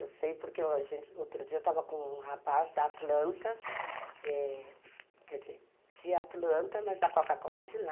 Eu sei porque outro dia eu estava com um rapaz da Atlanta, é, quer dizer, de Atlanta, mas da Coca-Cola de lá.